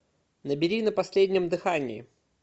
набери на последнем дыхании